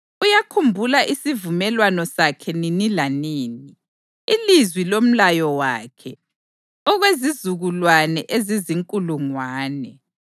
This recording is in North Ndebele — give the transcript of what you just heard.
Uyakhumbula isivumelwano sakhe nini lanini, ilizwi lomlayo wakhe, okwezizukulwane ezizinkulungwane,